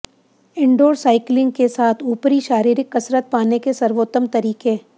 indoor cycling के साथ ऊपरी शारीरिक कसरत पाने के सर्वोत्तम तरीके